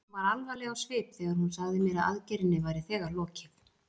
Hún var alvarleg á svip þegar hún sagði mér að aðgerðinni væri þegar lokið.